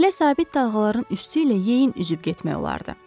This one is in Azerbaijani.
Belə sabit dalğaların üstü ilə yeyin üzüb getmək olardı.